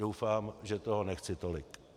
Doufám, že toho nechci tolik.